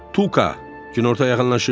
Tuka, günorta yaxınlaşırdı.